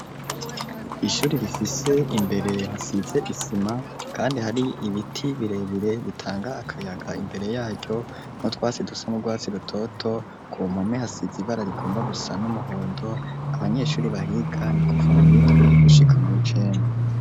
Ishuri rifise imbere hasize isima kandi hari ibiti birebire bitanga akayaga imbere yaryo n'utwatsi dusa n'urwatsi rutoto ku mpome hasize ibara rigomba gusa n'umuhondo abanyeshuri bahiga nikuva muwi ndwi gushika mu w'icenda.